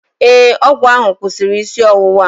Ee, ọgwụ ahụ kwụsịrị isi ọwụwa m